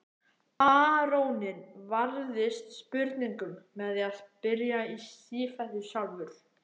Baróninn varðist spurningum með því að spyrja í sífellu sjálfur.